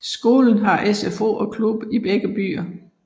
Skolen har SFO og klub i begge byer